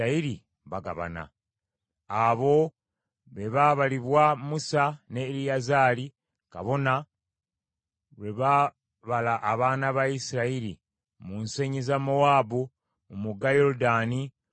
Abo be baabalibwa Musa ne Eriyazaali kabona lwe baabala abaana ba Isirayiri mu nsenyi za Mowaabu ku mugga Yoludaani okwolekera Yeriko.